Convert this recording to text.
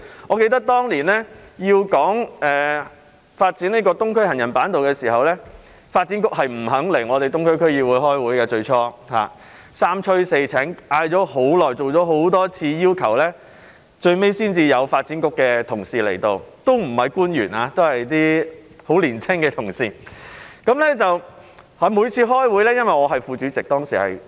我記得當年討論發展東區走廊下的行人板道時，發展局最初不肯出席東區區議會會議，在我們三催四請，多次邀請及請求後，最終才有發展局的同事出席，不是官員而是一些十分年青的同事。